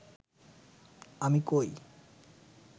আমি কই